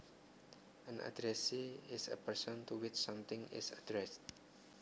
An addressee is a person to which something is addressed